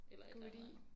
Eller et eller andet